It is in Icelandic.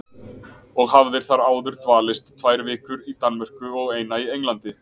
Og hafðir þar áður dvalist tvær vikur í Danmörku og eina í Englandi.